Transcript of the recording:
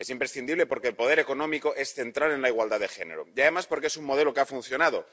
Es imprescindible porque el poder económico es central en la igualdad de género, y además porque es un modelo que ha funcionado.